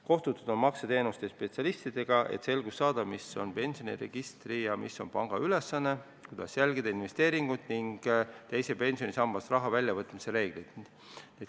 Kohtutud on makseteenuste spetsialistidega, et selgust saada, mis on pensioniregistri ja mis on panga ülesanne, kuidas jälgida investeeringuid ja teisest pensionisambast raha väljavõtmise reegleid.